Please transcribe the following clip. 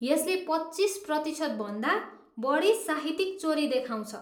यसले पच्चिस प्रतिशतभन्दा बढी साहित्यिक चोरी देखाउँछ।